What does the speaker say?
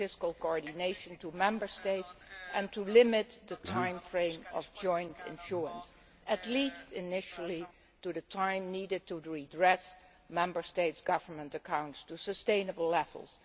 to fiscal coordination by Member States and to limit the time frame of joint issuance, at least initially, to the time needed to redress Member States' government accounts to sustainable levels.